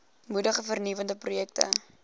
moedig vernuwende projekte